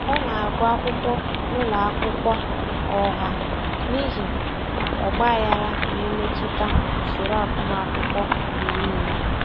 Ọ na-agụ akwụkwọ n'ụlọ akwụkwọ ọha n'ihi ọgbaghara na-emetụta usoro agụmakwụkwọ mgbe niile.